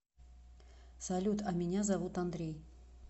салют а меня зовут андрей